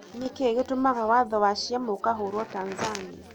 Nĩ kĩĩ gĩtũmaga watho wa ciama ukahũrwa Tanzania?